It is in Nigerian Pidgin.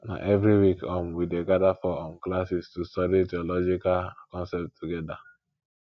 na every week um we dey gather for um classes to study theological concepts together